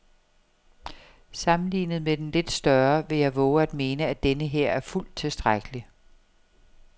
Sammenlignet med den lidt større vil jeg vove at mene, at denneher er fuldt tilstrækkelig.